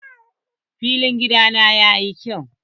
Fenti na gidan nan yayi kyau.